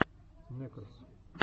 нэкрос